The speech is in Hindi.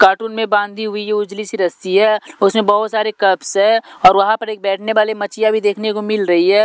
कार्टून में बांधी हुई ये उजली सी रस्सी है उसमें बहोत सारे कर्बस है और वहां पर एक बैठने वाली भी देखने को मिल रही है।